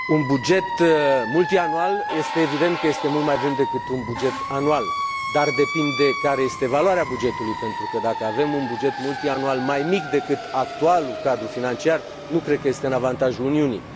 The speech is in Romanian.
Este evident că un buget multianual este mult mai bun decât un buget anual, dar depinde care este valoarea bugetului, pentru că, dacă avem un buget multianual mai mic decât actualul cadru financiar, nu cred că este în avantajul Uniunii.